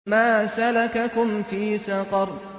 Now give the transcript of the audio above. مَا سَلَكَكُمْ فِي سَقَرَ